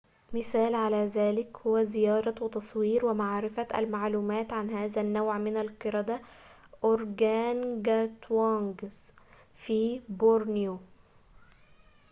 مثالٌ على ذلك هو زيارة وتصوير ومعرفة المعلومات عن هذا النّوع من القردة organgatuangs في بورنيو